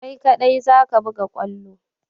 Kai ka ɗai zaka buga kwallo!